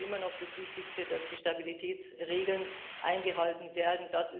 Für mich ist immer noch das Wichtigste, dass die Stabilitätsregeln eingehalten werden.